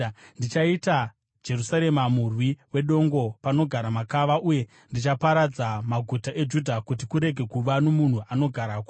“Ndichaita Jerusarema murwi wedongo, panogara makava; uye ndichaparadza maguta eJudha, kuti kurege kuva nomunhu anogarako.”